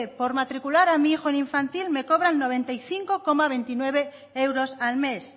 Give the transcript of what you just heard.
por matricular a mi hijo en infantil me cobran noventa y cinco coma veintinueve euros al mes